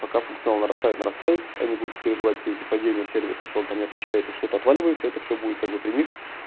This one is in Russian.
пока функционал нарастает нарастает они будут переживать все эти падения сервиса что он там не отвечает и что-то отваливается это всё будет как бы при них